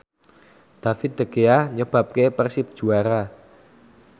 David De Gea nyebabke Persib juara